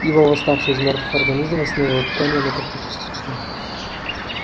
его восставший из мёртвых организм восстановил ткани но как-то частично